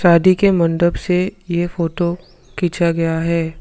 शादी के मंडप से ये फोटो खींचा गया है।